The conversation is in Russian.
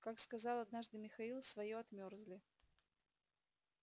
как сказал однажды михаил своё отмёрзли